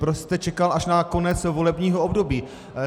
Proč jste čekal až na konec volebního období.